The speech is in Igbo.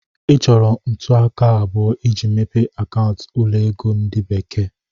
Ị chọrọ ntụaka abụọ iji mepee akaụntụ ụlọ ego ndi bekee.